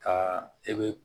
Ka e be